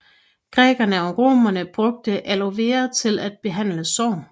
Grækerne og Romerne brugte Aloe vera til at behandle sår